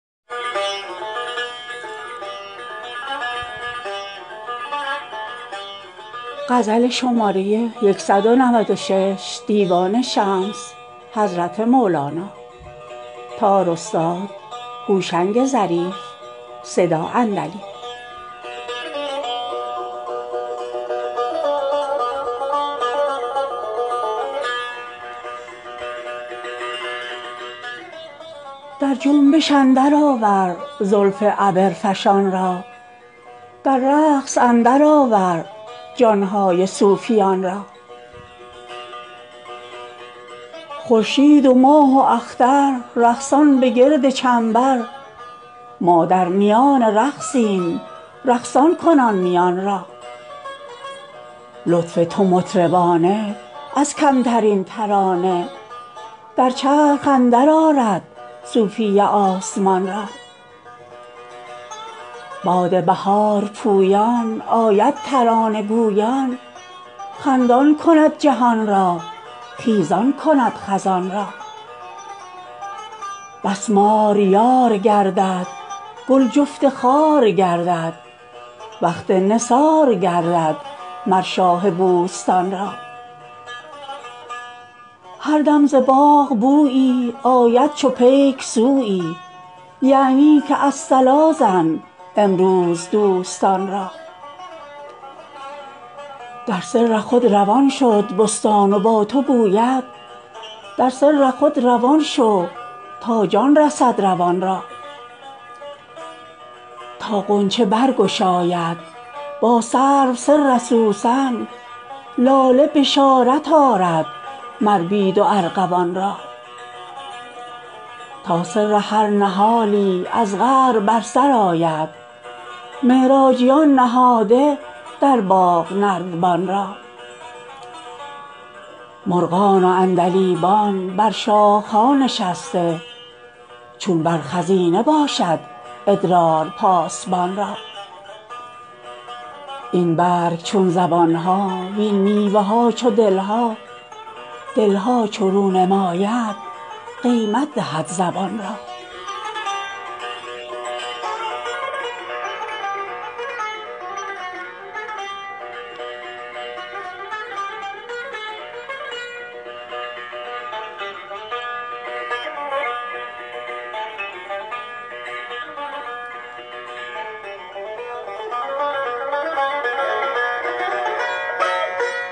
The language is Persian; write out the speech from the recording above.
در جنبش اندرآور زلف عبرفشان را در رقص اندرآور جان های صوفیان را خورشید و ماه و اختر رقصان به گرد چنبر ما در میان رقصیم رقصان کن آن میان را لطف تو مطربانه از کمترین ترانه در چرخ اندرآرد صوفی آسمان را باد بهار پویان آید ترانه گویان خندان کند جهان را خیزان کند خزان را بس مار یار گردد گل جفت خار گردد وقت نثار گردد مر شاه بوستان را هر دم ز باغ بویی آید چو پیک سویی یعنی که الصلا زن امروز دوستان را در سر خود روان شد بستان و با تو گوید در سر خود روان شو تا جان رسد روان را تا غنچه برگشاید با سرو سر سوسن لاله بشارت آرد مر بید و ارغوان را تا سر هر نهالی از قعر بر سر آید معراجیان نهاده در باغ نردبان را مرغان و عندلیبان بر شاخه ها نشسته چون بر خزینه باشد ادرار پاسبان را این برگ چون زبان ها وین میوه ها چو دل ها دل ها چو رو نماید قیمت دهد زبان را